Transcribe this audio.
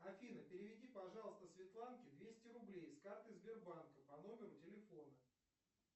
афина переведи пожалуйста светланке двести рублей с карты сбербанка по номеру телефона